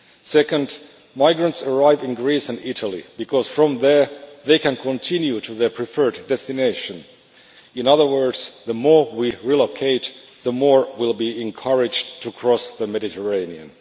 Second, migrants arrive in Greece and Italy because from there they can continue to their preferred destination, in other words, the more we relocate the more will be encouraged to cross the Mediterranean.